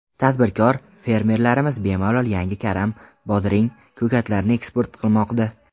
Tadbirkor, fermerlarimiz bemalol yangi karam, bodring, ko‘katlarni eksport qilmoqda.